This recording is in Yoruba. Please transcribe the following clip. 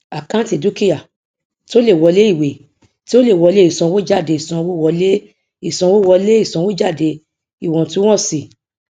àkántì dúkìá tí ó lè wọlé ìwé tí ó lè wọlé ìsanwójádé ìsanwówọlé ìsanwówọlé ìsanwójáde iwọntúnwọnsì